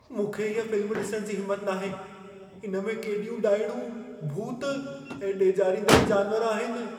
मूंखे इह फिल्म ॾिसण जी हिमत नाहे। इन में केॾियूं ॾाइणूं, भूत ऐं डेॼारींदड़ जानवर आहिन।